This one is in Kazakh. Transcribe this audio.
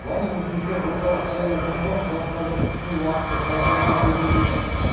барлық үміткер ортсайлаукомға құжаттарды ұсыну уақыты тәртібімен көрсетілген